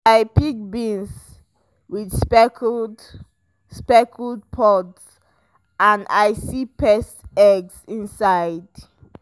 i pick beans with speckled speckled pods and i see pest eggs inside.